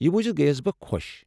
یہِ بوزِتھ گیس بہٕ خۄش۔